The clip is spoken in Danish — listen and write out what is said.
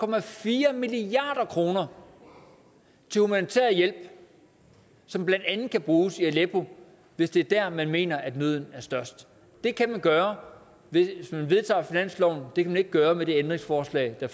milliard kroner til humanitær hjælp som blandt andet kan bruges i aleppo hvis det er der man mener nøden er størst det kan man gøre hvis man vedtager finansloven det kan man ikke gøre med det ændringsforslag der